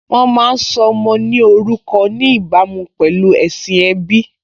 Wọ́n má́a ń sọ ọmọ ní orúkọ ní ìbámu pẹ̀lú ẹ̀sìn ẹbí